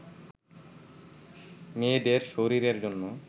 মেয়েদের শরীর-এর জন্য